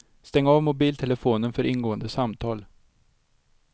Stäng av mobiltelefonen för ingående samtal.